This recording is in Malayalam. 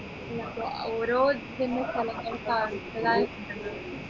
ഓരോ സ്ഥലങ്ങൾ